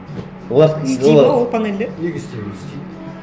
олардікі істейді ме ол панельдер неге істемейді істейді